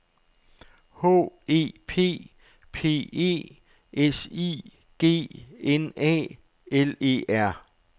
H E P P E S I G N A L E R